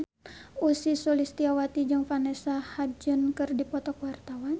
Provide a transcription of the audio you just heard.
Ussy Sulistyawati jeung Vanessa Hudgens keur dipoto ku wartawan